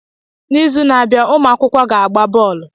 N'izu na-abịa, ụmụ akwụkwọ ga-agba bọọlụ.